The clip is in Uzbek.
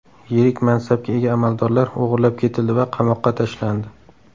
Yirik mansabga ega amaldorlar o‘g‘irlab ketildi va qamoqqa tashlandi.